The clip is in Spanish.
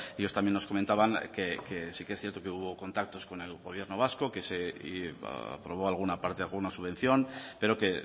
ellos también nos comentaban que sí que es cierto que hubo contactos con el gobierno vasco y que se aprobó alguna parte alguna subvención pero que